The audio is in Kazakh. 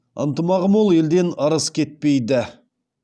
ынтымағы мол елден ырыс кетпейді